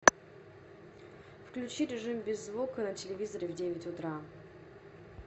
включи режим без звука на телевизоре в девять утра